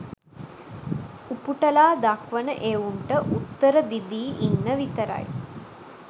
උපුටලා දක්වන එවුන්ට උත්තර දිදී ඉන්න විතරයි